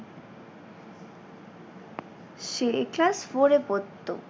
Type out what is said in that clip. সে class four এ পড়তো।